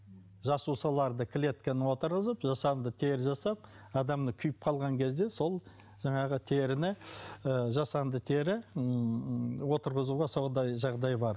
жасушаларды клетканы отырғызып жасанды тері жасап адам мына күйіп қалған кезде сол жаңағы теріні ы жасанды тері ммм отырғызуға сондай жағдай бар